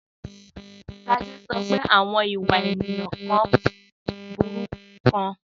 Sade sọ pé àwọn ìwà ènìyàn kan burú gan-an.